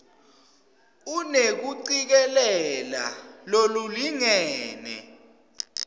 unekucikelela lolulingene